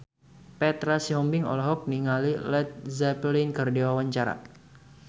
Petra Sihombing olohok ningali Led Zeppelin keur diwawancara